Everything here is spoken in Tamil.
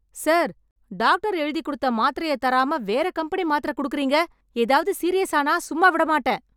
சார், டாக்டர் எழுதிக்கொடுத்த மாத்திரைய தராம, வேற கம்பெனி மாத்திர கொடுக்கறீங்க? எதாவது சீரியஸ் ஆனா சும்மா விடமாட்டேன்.